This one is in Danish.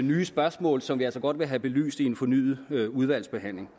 nye spørgsmål som vi altså godt vil have belyst i en fornyet udvalgsbehandling